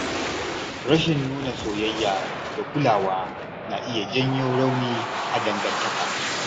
Rashin nuna soyayya da kulawa na iya janyo rauni a dangantaka.